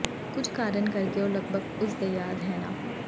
ਕੁਝ ਕਾਰਨ ਕਰਕੇ ਉਹ ਲਗਭਗ ਉਸ ਦੇ ਯਾਦ ਹੈ ਨਾ